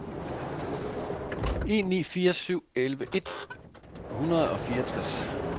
en ni fire syv elleve et hundrede og fireogtres